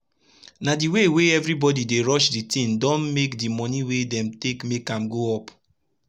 na d way wey everi bodi dey rush d tin don make d moni wey dem dey take make am go up